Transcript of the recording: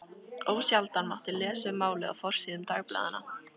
Ósjaldan mátti lesa um málið á forsíðum dagblaðanna.